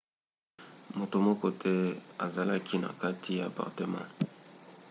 moto moko te azalaki na kati ya apartema